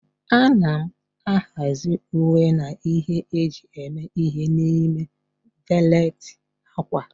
A na-ahazi uwe na ihe eji eme ihe n'ime valet ákwà.